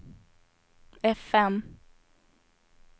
fm